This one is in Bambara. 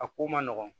A ko ma nɔgɔn